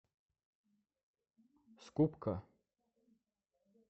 скупка